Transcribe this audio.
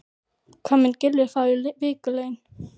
Hvað mun Gylfi fá í vikulaun?